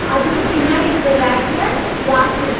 அதுக்கு பின்னாடி இருக்க ரேக்ல வாட்ச் இருக்கு.